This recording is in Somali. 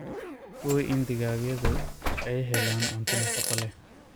Hubi in digaagyadhu ay helayaan cunto nafaqo leh.